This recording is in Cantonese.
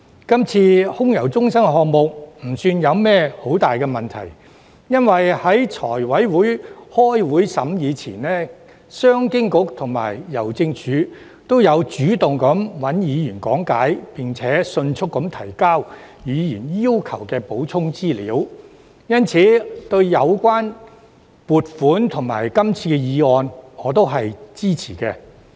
今次空郵中心項目不算有甚麼大問題，因為在財委會開會審議前，商務及經濟發展局和郵政署也有主動向議員講解，並迅速提交議員要求的補充資料。因此，對於有關撥款及今次的議案，我都是支持的。